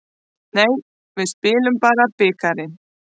Nei, við spilum bara bikarinn.